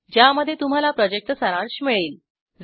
ज्यामध्ये तुम्हाला प्रॉजेक्टचा सारांश मिळेल